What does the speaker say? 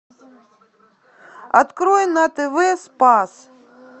открой на тв спас